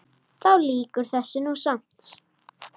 Þá lýkur þessu nú samt.